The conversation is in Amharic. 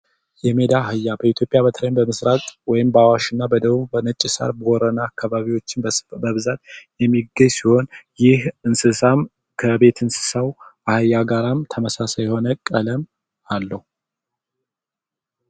የሜዳ አህያ በኢትዮጵያ በተለይም በመስራቅ እና በአዋሽ ወይም ደግሞ በነጭ ሳር ቦረና አካባቢዎች በስፋት የሚገኝ ሲሆን ይህ እንስሳም ከቤት እንስሳው አህያ ጋርም ተመሳሳይ የሆነ ቀለም አለው።